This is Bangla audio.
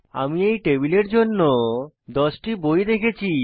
আমি এই টেবিলের জন্য দশটি বই রেখেছি